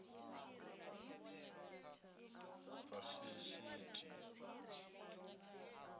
vhafiḽisita